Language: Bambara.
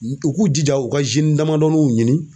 U k'u jija u ka damadɔnin ɲini